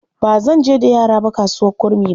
Ba zan je da yara ba kasuwar Kurmi ba.